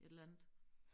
Et eller andet